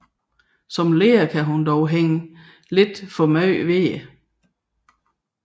Som leder kan hun dog hænge lidt for meget ved det